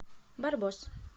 барбос